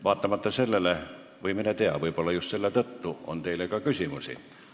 Vaatamata sellele, või mine tea, võib-olla just selle tõttu on teile ka küsimusi.